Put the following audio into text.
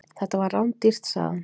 Þetta var rándýrt, sagði hann.